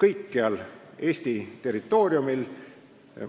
kõikjal Eesti territooriumil.